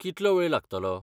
कितलो वेळ लागतलो?